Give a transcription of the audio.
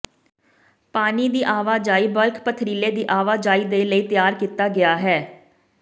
ਪਾਣੀ ਦੀ ਆਵਾਜਾਈ ਬਲਕ ਪਥਰੀਲੇ ਦੀ ਆਵਾਜਾਈ ਦੇ ਲਈ ਤਿਆਰ ਕੀਤਾ ਗਿਆ ਹੈ